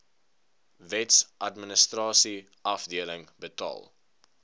wetsadministrasie afdeling betaal